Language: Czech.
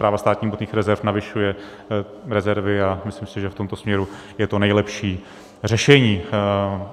Správa státních hmotných rezerv navyšuje rezervy a myslím si, že v tomto směru je to nejlepší řešení.